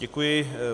Děkuji.